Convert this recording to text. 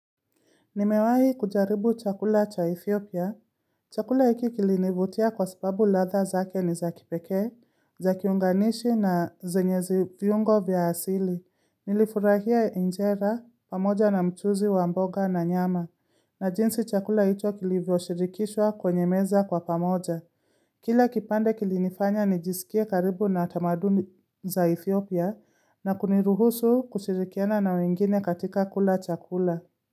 Nimewahi kujaribu chakula cha Ethiopia. Chakula hiki kilinivutia kwa sababu ladha zake ni za kipekee, za kiunganishi na zenye viungo vya asili. Nilifurahia injera, pamoja na mchuzi, wa mbogana nyama. Na jinsi chakula hicho kilivyoshirikishwa kwenye meza kwa pamoja. Kila kipande kilinifanya nijisikie karibu na tamaduni za Ethiopia na kuniruhusu kushirikiana na wengine katika kula chakula.